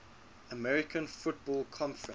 american football conference